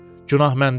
Günah məndədir.